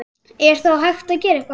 Er þá hægt að gera eitthvað?